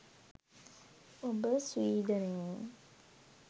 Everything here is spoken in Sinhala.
ඔබ ස්වීඩනයේ